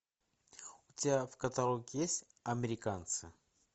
у тебя в каталоге есть американцы